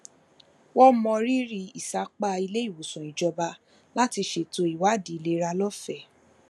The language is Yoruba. wọn mọrírì ìsapá iléìwòsàn ìjọba láti ṣètò ìwádìí ìlera lófẹẹ